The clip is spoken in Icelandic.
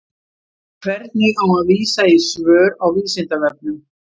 Hvernig á að vísa í svör á Vísindavefnum?